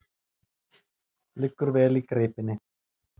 Liggur vel í greipinni.